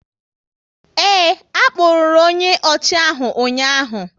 Ee, a kpụrụru onye ọchị ahụ ụnyaahụ